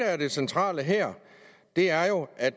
er det centrale her er jo at